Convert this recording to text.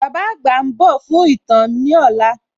Bàbá àgbà ń dò fún ītàn ní òla